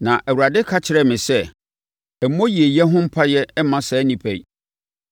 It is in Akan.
Na Awurade ka kyerɛɛ me sɛ, “Mmɔ yieyɛ ho mpaeɛ mma saa nnipa yi.